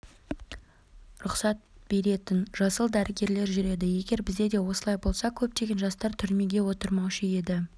рұқсат беретін жасыл дәрігерлер жүреді егер бізде де осылай болса көптеген жастар түрмеге отырмаушы еді